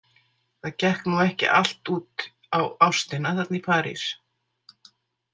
Það gekk nú ekki allt út á ástina þarna í París.